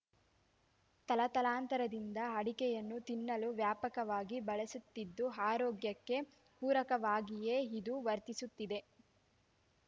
ತಲತಲಾಂತರದಿಂದ ಅಡಕೆಯನ್ನು ತಿನ್ನಲು ವ್ಯಾಪಕವಾಗಿ ಬಳಸುತ್ತಿದ್ದು ಆರೋಗ್ಯಕ್ಕೆ ಪೂರಕವಾಗಿಯೇ ಇದು ವರ್ತಿಸುತ್ತಿದೆ